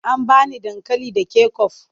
An ba ni dankali da kecof.